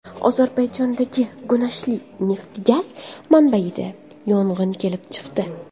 Ozarbayjondagi Gunashli neft-gaz manbaida yong‘in kelib chiqdi.